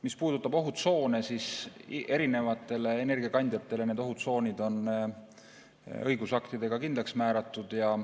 Mis puudutab ohutsoone, siis erinevatele energiakandjatele need ohutsoonid on õigusaktides kindlaks määratud.